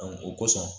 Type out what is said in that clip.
o kosɔn